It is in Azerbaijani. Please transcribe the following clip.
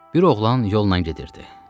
Bir oğlan yolla gedirdi.